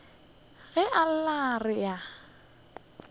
ge a lla re a